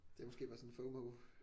Det er måske bare sådan FOMO